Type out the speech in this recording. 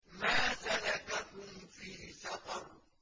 مَا سَلَكَكُمْ فِي سَقَرَ